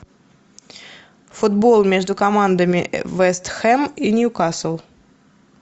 футбол между командами вест хэм и ньюкасл